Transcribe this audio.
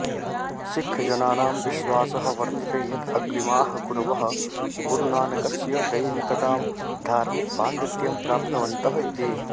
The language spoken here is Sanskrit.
सिक्खजनानां विश्वासः वर्तते यत् अग्रिमाः गुरवः गुरुनानकस्य दैविकतां धार्मिकपाण्डित्यं प्राप्तवन्तः इति